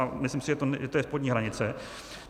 A myslím si, že to je spodní hranice.